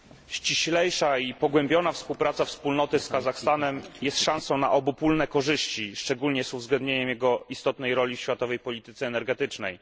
Ściślejsza i pogłębiona współpraca wspólnoty z Kazachstanem jest szansą na obopólne korzyści, szczególnie z uwzględnieniem jego istotnej roli w światowej polityce energetycznej.